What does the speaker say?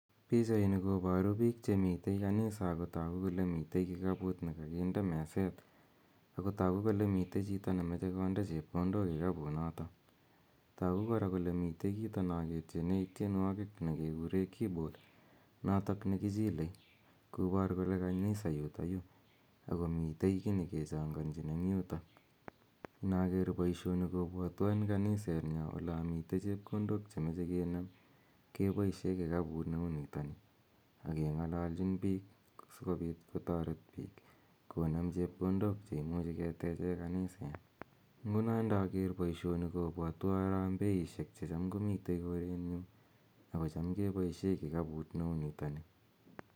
Pichaini koparu piik che mi kanisa ako tagu kole mitei kikapuut ne kakinde meset, ako tagu ole mitei chito ne mache konde chepkondok kikapunotok. Tagu kora kole mite kito na ketiene tienwogiik nekekure keyboard natak nekichilei kopar kole kanisa yutayu ako mitei ki ne kechanganchin eng' yutok. Inaker poishoni kopwatwa eng kanisetnyo ola mitei chepkondok che mache kenem kepaishe kikaput ne u nitani ak keng'alalchin piik sikopit kotaret piik konem chepkondok che imuchi keteche kaniseet. Nguno inaker poishoni kopwatwa harambeisiek che cham komitei koreet nyu ako cham kepaishe kikapuut ne u nitani